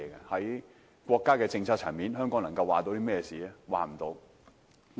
在國家政策層面上，香港並不能作主。